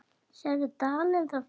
Sérðu dalinn þarna?